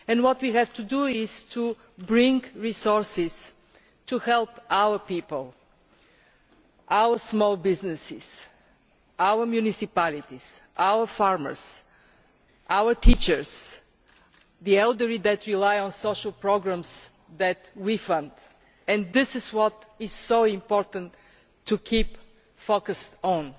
What we have to do is bring resources to help our people, our small businesses, our municipalities, our farmers, our teachers, the elderly that rely on social programmes that we fund, and this is what it is so important for us to keep focused on.